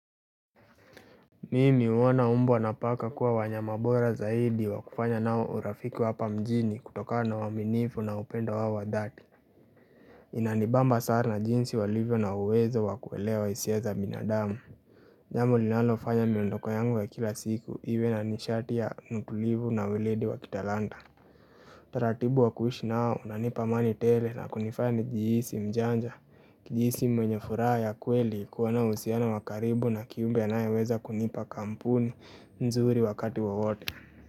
Mimi huona mbwa na paka kuwa wanyama bora zaidi wakufanya nao urafiki wa hapa mjini kutokana na uwaminifu na upendo wao wa dhati Inanibamba sana jinsi walivyo na uwezo wakuelewa hisia binadamu jambo linalofanya miondoko yangu wa kila siku iwe na nishati ya nukulivu na uweledi wa kitalanta taratibu wa kuishi nao unanipa amani tele na kunifanya njihisi mjanja kujihisi mwenye furaha ya kweli kuwa na uhusiano wa karibu na kiumbe anaye weza kunipa kampuni nzuri wakati wawote.